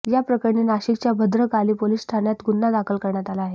या प्रकरणी नाशिकच्या भद्रकाली पोलीस ठाण्यात गुन्हा दाखल करण्यात आला आहे